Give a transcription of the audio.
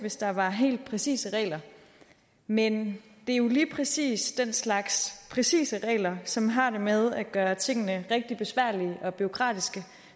hvis der var helt præcise regler men det er jo lige præcis den slags præcise regler som har det med at gøre tingene rigtig besværlige og bureaukratiske